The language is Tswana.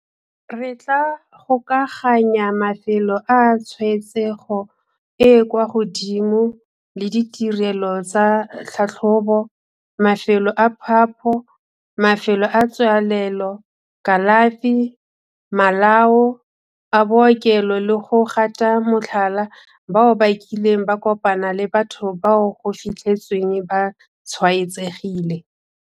Re tla gokaganya mafelo a tshwaetsego e e kwa godimo le ditirelo tsa tlhatlhobo, mafelo a phapho, mafelo a tswalelo, kalafi, malao a bookelo le go gata motlhala bao ba kileng ba kopana le batho bao go fitlhetsweng ba tshwaetsegile.